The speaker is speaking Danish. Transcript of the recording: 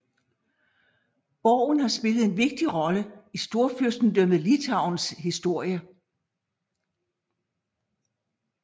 Borgen har spillet en vigtig rolle i Storfyrstendømmet Litauens historie